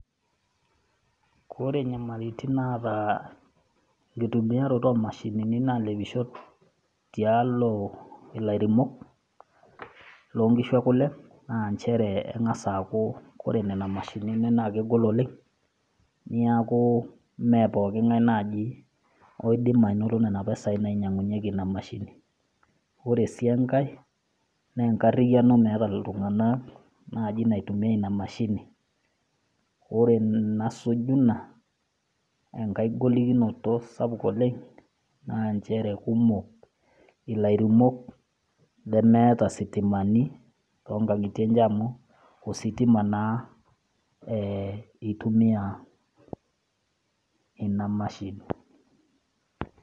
Kore inyamalitin naata enkitumiyaroto oo mashinini nalepisho tialo ilairemok, loo inkishu e kule naa nchere eng'as aaku ore nena mashinini naa kegol oleng, neaku , mee pooki ngai nang'as naaji ainoto nena pisai nainyangunyeki ina mashini. Ore sii enkai naa enkariyano naaji meata iltung'ana naitumiya ina mashini. Ore enasuju ina enkai golikinoto sapuk oleng' naa nchere kumok ilairemok lemeata issitimani too inkang'itie enye amu ositima naa eitumia naa ina mashini.